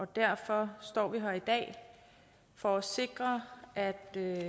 derfor står vi her i dag for at sikre at